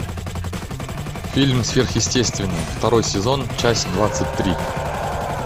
фильм сверхъестественное второй сезон часть двадцать три